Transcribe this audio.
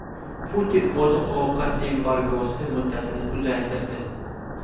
Putin oziq-ovqat embargosi muddatini uzaytirdi.